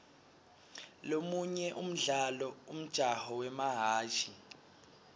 lomunye umdlalo umjaho wemahhashi